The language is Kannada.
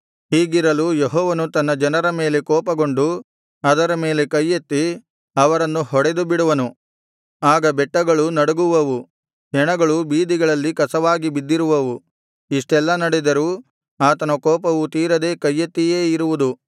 ಹೀಗಿರಲು ಯೆಹೋವನು ತನ್ನ ಜನರ ಮೇಲೆ ಕೋಪಗೊಂಡು ಅವರ ಮೇಲೆ ಕೈಯೆತ್ತಿ ಅವರನ್ನು ಹೊಡೆದುಬಿಡುವನು ಆಗ ಬೆಟ್ಟಗಳು ನಡಗುವವು ಹೆಣಗಳು ಬೀದಿಗಳಲ್ಲಿ ಕಸವಾಗಿ ಬಿದ್ದಿರುವವು ಇಷ್ಟೆಲ್ಲಾ ನಡೆದರೂ ಆತನ ಕೋಪವು ತೀರದೇ ಕೈಯೆತ್ತಿಯೇ ಇರುವುದು